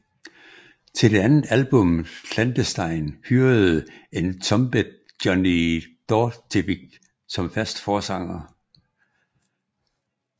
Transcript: Til det andet album Clandestine hyrede Entombed Johnny Dordevic som fast forsanger